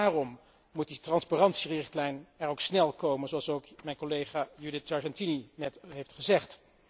Daarom moet die transparantierichtlijn er ook snel komen, zoals ook mijn collega Judith Sargentini net heeft gezegd.